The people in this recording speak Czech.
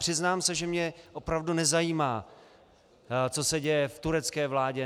Přiznám se, že mě opravdu nezajímá, co se děje v turecké vládě.